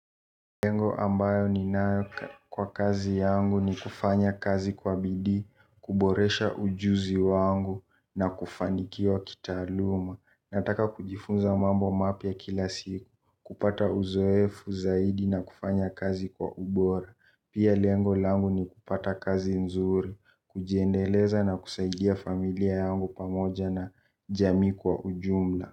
Lengo ambayo ninayo kwa kazi yangu ni kufanya kazi kwa bidii, kuboresha ujuzi wangu na kufanikiwa kitaaluma. Nataka kujifunza mambo mapya kila siku, kupata uzoefu zaidi na kufanya kazi kwa ubora. Pia lengo langu ni kupata kazi nzuri kujiendeleza na kusaidia familia yangu pamoja na jamii kwa ujumla.